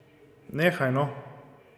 Nehaj no.